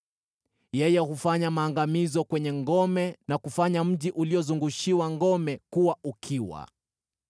yeye hufanya maangamizo kwenye ngome na kufanya mji uliozungushiwa ngome kuwa ukiwa),